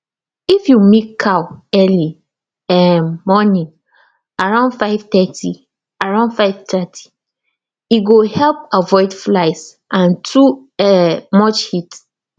if you milk cow early um morning around 530 around 530 e go help avoid flies and too um much heat